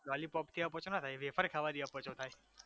લોલીપોપથી અપચો ના થાય વેફર ખાવાથી અપચો થાય